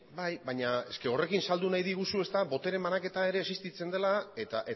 bai baina horrekin saldu nahi diguzu botere banaketa ere existitzen dela eta